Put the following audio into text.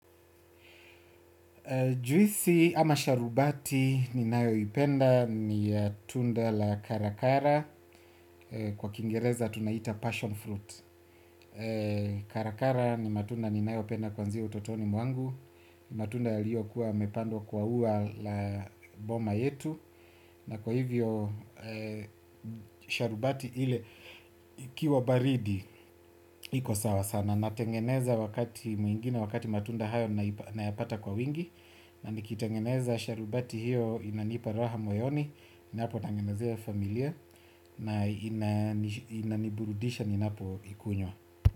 Juisi ama sharubati ninayoipenda ni tunda la karakara kwa kiingereza tunaita passion fruit. Karakara ni matunda ninayopenda kuanzia utotoni mwangu. Matunda yaliokuwa yamepandwa kwa ua la boma yetu. Na kwa hivyo, sharubati ile ikiwa baridi, iko sawa sana. Natengeneza wakati mwingine, wakati matunda hayo nayapata kwa wingi. Na nikitengeneza sharubati hiyo inanipa raha moyoni. Ninapotengenezea familia na inaniburudisha ninapoikunywa.